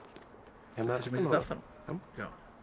hérna aftan á já